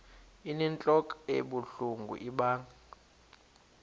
inentlok ebuhlungu ibanga